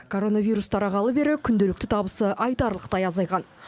коронавирус тарағалы бері күнделікті табысы айтарлықтай азайған